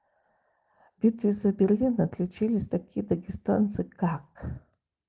в битве за берлин отличились такие дагестанцы как